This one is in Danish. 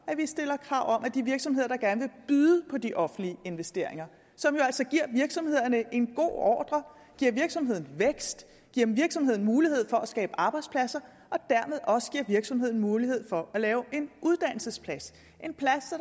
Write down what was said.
vi stiller krav om at de virksomheder der gerne byde på de offentlige investeringer som jo altså giver virksomhederne en god ordre giver virksomheden vækst giver virksomheden mulighed for at skabe arbejdspladser og dermed også giver virksomheden mulighed for at lave en uddannelsesplads en plads